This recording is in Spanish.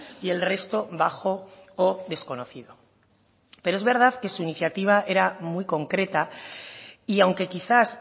y el resto bajo o desconocido pero es verdad que su iniciativa era muy concreta y aunque quizás